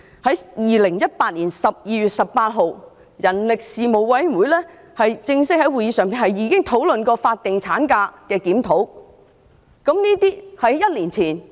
在2018年12月18日，人力事務委員會已正式在會議上就法定產假的檢討進行討論。